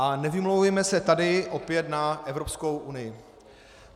A nevymlouvejme se tu opět na Evropskou unii.